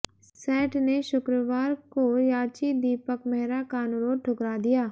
set ने शुक्रवार को याची दीपक मेहरा का अनुरोध ठुकरा दिया